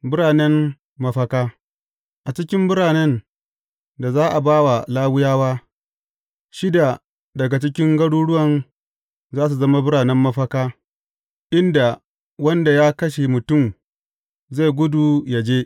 Biranen mafaka A cikin biranen da za a ba Lawiyawa, shida daga cikin garuruwan za su zama biranen mafaka, inda wanda ya kashe mutum zai gudu yă je.